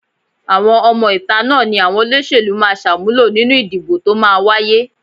Àwọn ọmọ-ìta náà ni àwọn olóṣèlú máa ṣàmúlò nínú ìdìbò tó máa wáyé